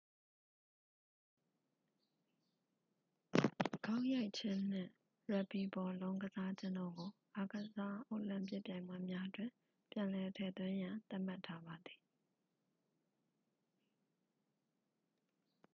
ဂေါက်ရိုက်ခြင်းနှင့် ရက်ဘီဘောလုံး ကစားခြင်းတို့ကို အိုလံပစ်အားကစားပွဲများတွင် ပြန်လည်ထည့်သွင်းရန် သတ်မှတ်ထားပါသည်